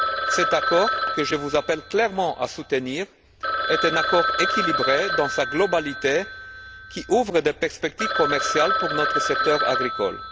Cet accord, que je vous appelle clairement à soutenir, est un accord équilibré dans sa globalité, qui ouvre des perspectives commerciales pour notre secteur agricole.